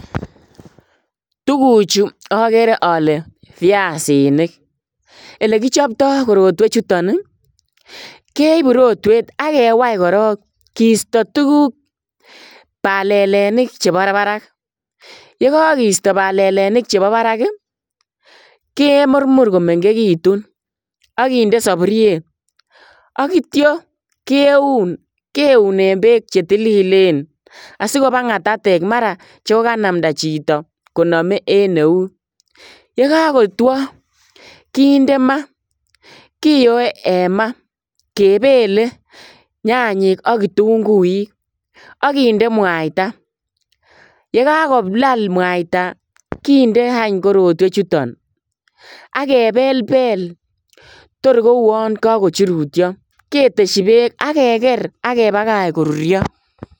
Tuguchu agere ale piasinik. Olegichopto korotwechuton, keipu rotwet ak kewai korog kiisto tuguk, palelinik chebo barak. Yekagoisto palelinik chebo barak ii, kemurmur komengegitun ak kinde sapuriet ak kitya keun, keune beek che tililen asigopa ngatatek mara chogoganamnda chito koname en eut. Ye kagotwa kiinde ma. Kiyoe en ma kepele nyanyik ak kitunguik ak kinde mwaita. Yegagolal mwaita kindeany korotwechuton ak kepelpel torkouan kagochurutyo, ketesyi beek ak keger ak kepagach koruryo.